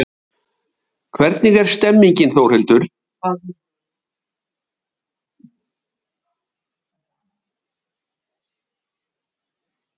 Telma Tómasson: Hvernig er stemningin Þórhildur?